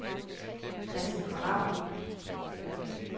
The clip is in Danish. Christen Ravn